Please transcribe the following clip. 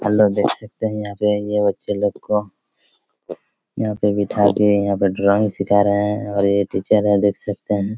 Hello देख सकते है यहाँ पे ये बच्चो लोग को यहाँ पे बैठा दिए हैं यहाँ पे ड्राइंग सीखा रहा है और ये टीचर है देख सकते है।